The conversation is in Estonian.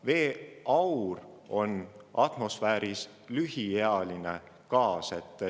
Veeaur on atmosfääris lühiealine gaas.